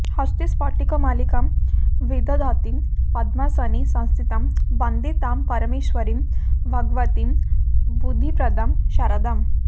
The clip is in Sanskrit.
हस्ते स्फाटिकमालिकां विदधतीं पद्मासने संस्थितां वन्दे तां परमेष्वरीं भगवतीं बुद्धिप्रदां शारदाम्